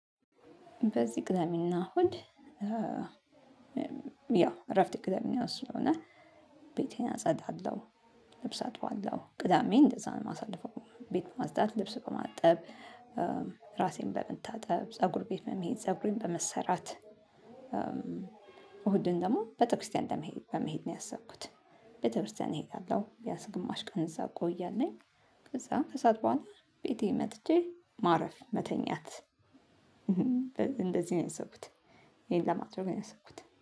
በዚህ ቅዳሜ እና እሁድ። ያው እረፍቴ ቅዳሜና እሁድ ስለሆነ ቤቴን አፀዳለው። ልብስ አጥባለው ቅዳሜን እንደዛ ነው ማሳልፈው ቤት በማፅዳት ልብስ በማጠብ። ራሴን በመታጠብ ፀጉር ቤት በመሄድ ፀጉሬን በመሰራት። እሁድን ደግሞ ቤተክርስቲያን በመሄድ በመሄድ ነው ያሰብኩት። ቤተክርስቲያን እሄዳለሁ ቢያንስ ግማሽ ቀን እዛ ቆያለሁኝ። ከዛ ከሰአት በኃላ ቤቴ መጥቼ ማረፍ መተኛት። እንደዚ ነው ያሰብኩት። ይሄን ለማድረግ ነው ያሰብኩት